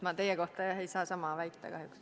Ma teie kohta jah ei saa sama väita kahjuks.